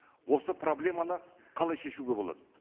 осы проблеманы қалай шешуге болады